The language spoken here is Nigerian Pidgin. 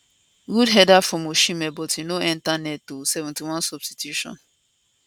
good header from osimhen but e no enta net ooo 71 substitution